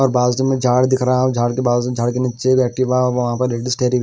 और बाजू में झाड़ दिख रहा है और झाड़ के बाजू झाड़ के नीचे एक वहां पे ।